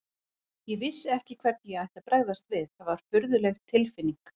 Ég vissi ekki hvernig ég ætti að bregðast við, það var furðuleg tilfinning.